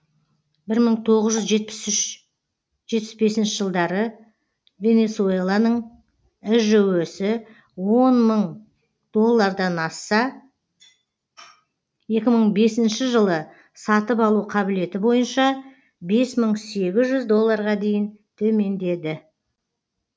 бір мың тоғыз жүз жетпіс үш жетпіс бесінші жылдары венесуэланың іжө сі он мың доллардан асса екі мың бесінші жылы сатып алу қабілеті бойынша бес мың сегіз жүз долларға дейін төмендеді